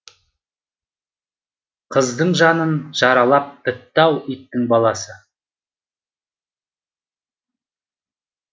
қыздың жанын жаралап бітіпті ау иттің баласы